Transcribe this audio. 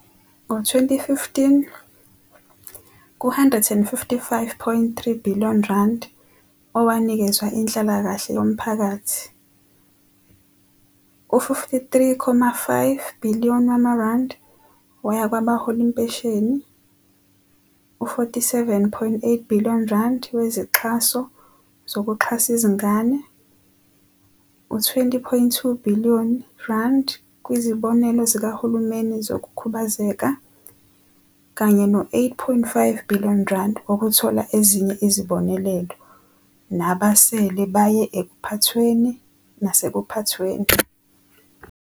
Ngo-2015, ku-R155.3 billion owanikezwa inhlalakahle yomphakathi, u-R53.5 billion waya kwabahola impesheni, U-R47,8 billion wezixhaso zokuxhasa izingane, U-R20.2 billion kwizibonelelo zikahulumeni zokukhubazeka, kanye no-R8.5 billion wokuthola ezinye izibonelelo, nabasele baye ekuphathweni nasekuphathweni.